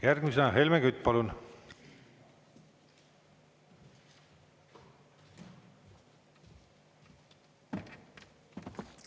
Järgmisena Helmen Kütt, palun!